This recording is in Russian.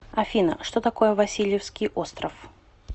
афина что такое васильевский остров